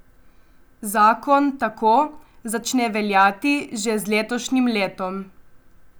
Zakon tako začne veljati že z letošnjim letom.